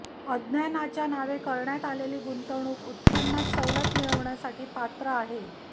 अज्ञानाच्या नावे करण्यात आलेली गुंतवणूक उत्पन्नात सवलत मिळविण्यासाठी पात्र आहे